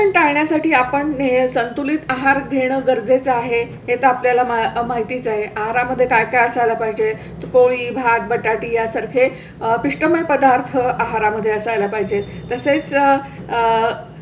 टाळण्यासाठी आपण हे संतुलित आहार घेणं गरजेचं आहे हे आपल्या ला माहितीच आहे. आहारा मध्ये काय काय असायला पाहिजे? पोळी, भात बटाट्या सारखे पिष्टमय पदार्थ आहारा मध्ये असाय ला पाहिजे. तसेच आह